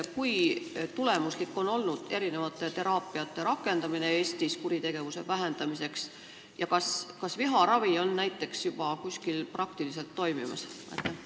Kui tulemuslik on olnud teraapiate rakendamine Eestis kuritegevuse vähendamiseks ja kas viharavi näiteks juba kuskil praktiliselt toimib?